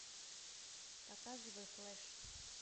показывай флэш